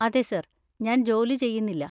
അതെ സർ. ഞാൻ ജോലി ചെയ്യുന്നില്ല.